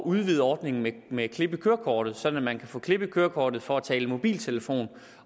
udvide ordningen med klip i kørekortet sådan at man kan få klip i kørekortet for at tale i mobiltelefon